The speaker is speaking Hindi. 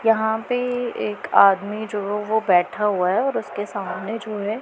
यहां पे एक आदमी जो वो बैठा हुआ है और उसके सामने जो है--